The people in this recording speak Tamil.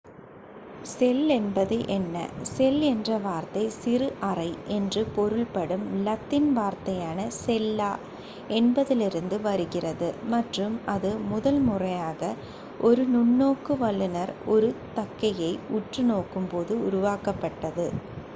"செல் என்பது என்ன? செல் என்ற வார்த்தை "சிறு அறை" என்று பொருள் படும் லத்தீன் வார்த்தையான "செல்லா" என்பதிலிருந்து வருகிறது மற்றும் அது முதல் முறையாக ஒரு நுண்ணோக்கு வல்லுனர் ஒரு தக்கையை உற்று நோக்கும் போது உருவாக்கப் பட்டது.